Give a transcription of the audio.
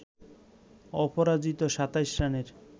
অপরাজিত ২৭ রানের